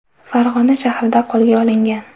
Farg‘ona shahrida qo‘lga olingan.